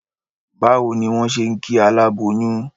Bá wo ni wón se n kí aláboyún?